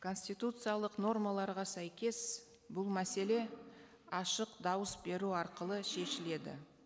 конституциялық нормаларға сәйкес бұл мәселе ашық дауыс беру арқылы шешіледі